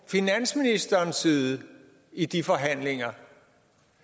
finansministerens side i de forhandlinger